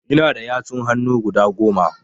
Ina da yatsun hannu guda Goma